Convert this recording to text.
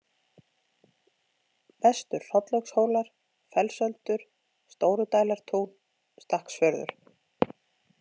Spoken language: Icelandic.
Vestur-Hrollaugshólar, Fellsöldur, Stórudælartún, Stakksfjörður